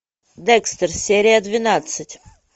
декстер серия двенадцать